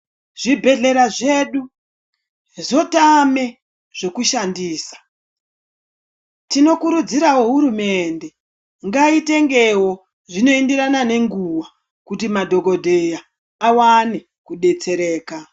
Zvibhedhlera zvedu zvotame zvekushandisa, tinokurudzirawo hurumende ngaitengewo zvinoenderana nenguwa kuti madhokodheya awane kudetsereka.